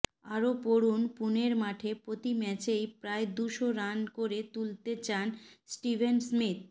আরও পড়ুন পুনের মাঠে প্রতি ম্যাচেই প্রায় দুশো রান করে তুলতে চান স্টিভেন স্মিথ